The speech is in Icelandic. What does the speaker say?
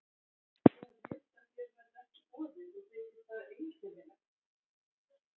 Ég hefi heyrt að þér verði ekki boðið og þykir það einkennilegt.